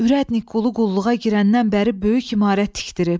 Ürədnık qulu qulluğa girəndən bəri böyük imarət tikdirib.